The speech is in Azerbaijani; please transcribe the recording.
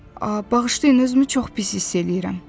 Bağışlayın, özümü çox pis hiss eləyirəm.